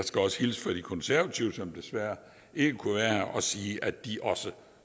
skal også hilse fra de konservative som desværre ikke kunne være her og sige at de også